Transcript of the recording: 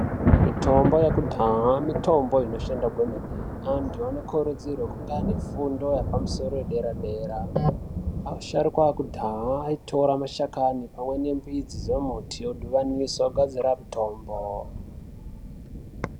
Mitombo yeku dhaha mitombo ino shanda kwemene antu ano kurudzirwe kunga ane fundo yepa musoro ye dera dera asharuka ekudhaya ayi tora mashakani pamwe ne mbidzi dze muti o dhibanisa o gadzire mutombo.